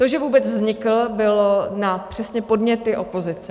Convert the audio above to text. To, že vůbec vznikl, bylo přesně na podněty opozice.